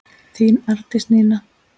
Þín Arndís Nína.